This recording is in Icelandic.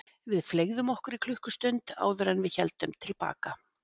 Við fleygðum okkur í klukkustund áður en við héldum til baka.